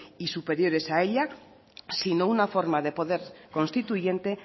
y superiores a ella sino una forma de poder constituyente